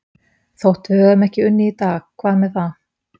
Þótt við höfum ekki unnið í dag, hvað með það?